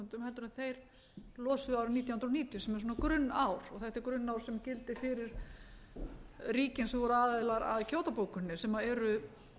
en þeir losuðu árið nítján hundruð níutíu sem er svona grunnár og þetta er grunnár sem gildir fyrir ríkin sem voru aðilar að kyoto bókuninni sem eru